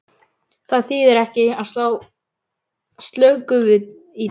Það þýðir ekki að slá slöku við í djamminu.